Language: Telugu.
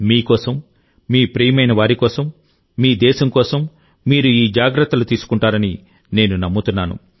మీ కోసం మీ ప్రియమైనవారి కోసం మీ దేశం కోసం మీరు ఈ జాగ్రత్తలు తీసుకుంటారని నేను ఖచ్చితంగా భావిస్తున్నాను